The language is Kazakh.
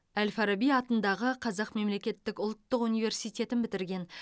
әл фараби атындағы қазақ мемлекеттік ұлттық университетін бітірген